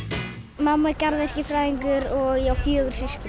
mamma er garðyrkjufræðingur og ég á fjögur systkini